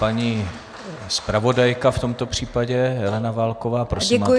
Paní zpravodajka v tomto případě, Helena Válková, prosím, máte slovo.